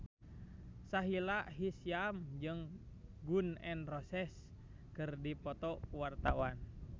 Sahila Hisyam jeung Gun N Roses keur dipoto ku wartawan